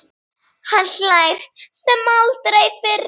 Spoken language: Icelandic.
Hann hlær sem aldrei fyrr.